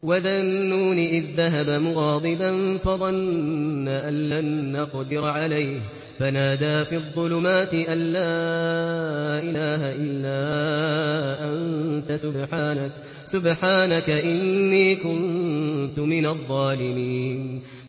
وَذَا النُّونِ إِذ ذَّهَبَ مُغَاضِبًا فَظَنَّ أَن لَّن نَّقْدِرَ عَلَيْهِ فَنَادَىٰ فِي الظُّلُمَاتِ أَن لَّا إِلَٰهَ إِلَّا أَنتَ سُبْحَانَكَ إِنِّي كُنتُ مِنَ الظَّالِمِينَ